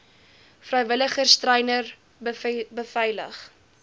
vrywilligers treine beveilig